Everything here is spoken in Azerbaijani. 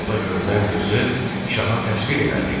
Falda görünən qızı şaha təsvir elədi.